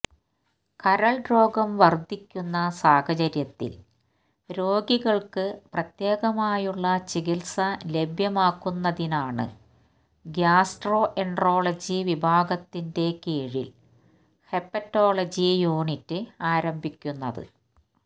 കരള് രോഗം വര്ധിക്കുന്ന സാഹചര്യത്തില് രോഗികള്ക്ക് പ്രത്യേകമായുള്ള ചികിത്സ ലഭ്യമാക്കുന്നതിനാണ് ഗ്യാസ്ട്രോ എന്ട്രോളജി വിഭാഗത്തിൻെറ കീഴില് ഹെപ്പറ്റോളജി യൂനിറ്റ് ആരംഭിക്കുന്നത്